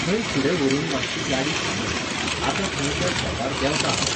थंय फुडें व्हरून मातशी गाडी थांबय. आतां थंय त्या स्टॉपार देवतां हांव